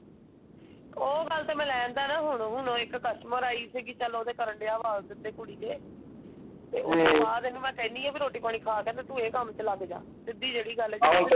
ਉਹ ਗੱਲ ਤੇ ਮੈਂ ਲੈ ਆਂਦਾ ਹੈ ਨਾ ਹੁਣੋ ਹੁਣੋ ਇੱਕ ਕੁਸਟੂਮਰ ਆਈ ਸੀਗੀ ਚਲ ਉਹਦੇ ਕਰਨ ਡਿਯਾ ਵਾ ਸਿੱਧੇ ਕੁੜੀ ਦੇ। ਤੇ ਉਸਤੋਂ ਬਾਅਦ ਇਹਨੂੰ ਮੈਂ ਕਹਿੰਦੀ ਹੈ ਕਿ ਰੋਟੀ ਪਾਣੀ ਖਾ ਕੇ ਫੇਰ ਤੂੰ ਇਹ ਕੱਮ ਚ ਲੱਗ ਜਾ ਸਿੱਧੀ ਜਿਹੜੀ ਗੱਲ ਹੈਗੀ ਆ। ,